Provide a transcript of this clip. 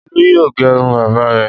Olú yóò gẹrun bàbá rẹ̀!